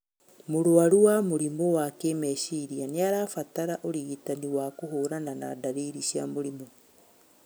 Mũrwaru wa mũrimũ wa kĩmeciria nĩarabatara ũrigitani wa kũhũrana na ndariri cia mũrimũ